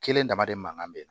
Kelen damadɔ mankan bɛ na